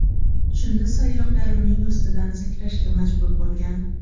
Shunda sayyohlar uning ustidan sakrashga majbur bo‘lgan.